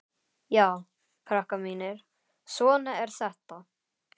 Já, krakkar mínir, svona er þetta.